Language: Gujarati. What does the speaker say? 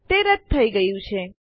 તે રદ થઇ ગયું છે